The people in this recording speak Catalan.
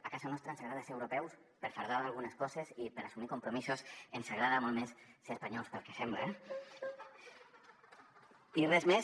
a casa nostra ens agrada ser europeus per presumir d’algunes coses i per assumir compromisos ens agrada molt més ser espanyols pel que sembla eh i res més